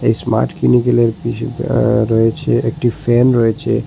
Smart কিনিকেলের কিছু আ রয়েছে একটি ফ্যান রয়েছে।